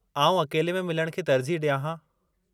आऊं अकेले में मिलणु खे तरजीहु डि॒यां हां .